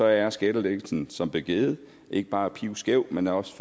er skattelettelsen som blev givet ikke bare pivskæv men er også